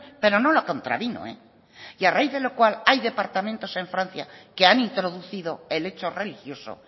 pero no la contravino eh y a raíz de lo cual hay departamentos en francia que han introducido el hecho religioso